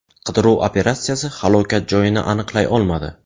Qidiruv operatsiyasi halokat joyini aniqlay olmadi.